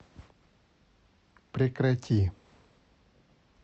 прекрати